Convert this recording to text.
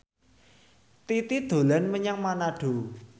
Titi dolan menyang Manado